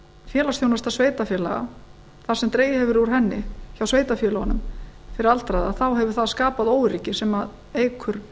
félagsþjónusta sveitarfélaga þar sem dregið hefur verið úr henni hjá sveitarfélögunum fyrir aldraða þá hefur það skapað óöryggi sem eykur